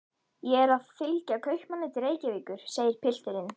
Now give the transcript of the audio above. Ég er að fylgja kaupmanni til Reykjavíkur, segir pilturinn.